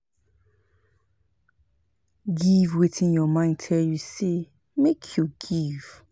Give wetin your mind tell you say make you give